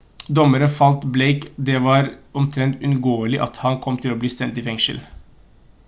dommeren fortalte blake at det var «omtrent uunngåelig» at han kom til å bli sendt i fengsel